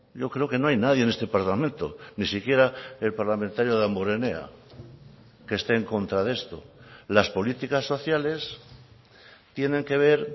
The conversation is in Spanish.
yo creo que no hay nadie en este parlamento ni siquiera el parlamentario damborenea que esté en contra de esto las políticas sociales tienen que ver